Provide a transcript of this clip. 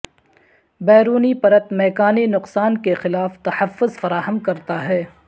بیرونی پرت میکانی نقصان کے خلاف تحفظ فراہم کرتا ہے